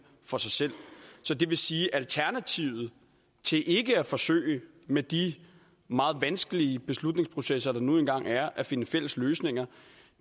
for sig selv så det vil sige at alternativet til ikke at forsøge med de meget vanskelige beslutningsprocesser der nu engang er at finde fælles løsninger